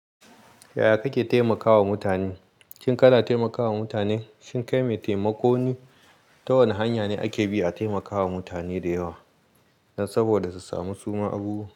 Yaya kake taimakawa mutane? Shin kana taimakawa mutane? Shin kai mai taimako ne? Ta wane hanya ne ake bi a taimakawa mutane da yawa don saboda su sami suma abubuwa.